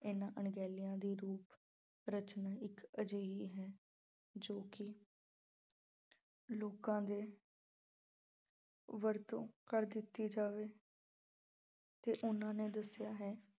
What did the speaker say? ਇਨ੍ਅਹਾਂ ਣਗਹਿਲਿਆਂ ਦੀ ਰੂਪ ਰਚਨਾ ਇੱਕ ਅਜਿਹੀ ਹੈ ਜੋ ਕਿ ਲੋਕਾਂ ਦੇ ਵਰਤੋਂ ਕਰ ਦਿੱਤੀ ਜਾਵੇ ਤੇ ਉਹਨਾਂ ਨੇ ਦੱਸਿਆ ਹੈ